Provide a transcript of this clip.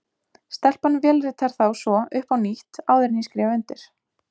Stelpan vélritar þá svo upp á nýtt, áður en ég skrifa undir.